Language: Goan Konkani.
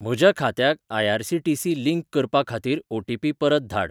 म्हज्या खात्याक आय.आर.सी.टी.सी. लिंक करपा खातीर ओ.टी.पी परत धाड.